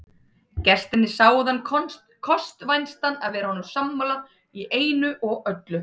Gestirnir sáu þann kost vænstan að vera honum sammála í einu og öllu.